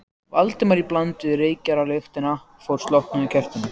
Valdimars í bland við reykjarlyktina frá slokknaða kertinu.